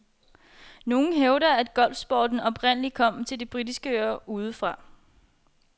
Nogle hævder, at golfsporten oprindeligt kom til de britiske øer udefra.